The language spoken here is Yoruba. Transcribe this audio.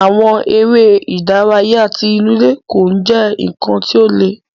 Àwọn eré ìdárayá tí inú ilé kò jẹ nkán ti o le.